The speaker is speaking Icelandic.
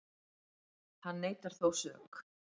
Hann neitar þó sök